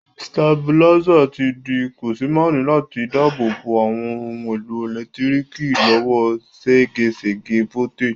Stabilizer ti di kòsémaní láti dábò bo àwon oun èlò ẹ̀lẹ́ntíriki lọ́wọ́ ségesège voltage